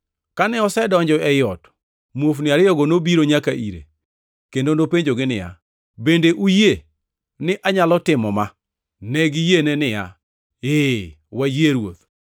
Kane osedonjo ei ot, muofni ariyogo nobiro nyaka ire, kendo nopenjogi niya, “Bende uyie ni anyalo timo ma?” Ne giyiene niya, “Ee, wayie Ruoth.”